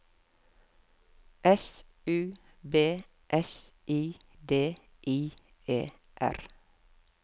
S U B S I D I E R